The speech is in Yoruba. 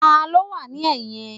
Ta ló wà ní ẹ̀yìn ẹ?